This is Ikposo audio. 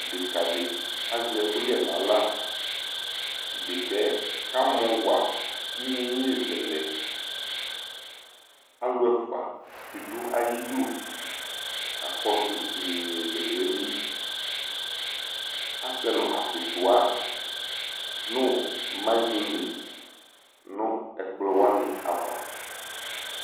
Dekǝ dɩ azɛ ɛkʋyɛ nʋ aɣla Dekǝ yɛ kamɔ wa iyeye zɛ lɛ Alʋ ɛfʋa bɩ dʋ ayʋ idu kakɔsʋ iyeye zɛ lɛ yɛ li Asɛ nʋ akʋtʋwa nʋ mayones nʋ ɛkplɔ wanɩ ava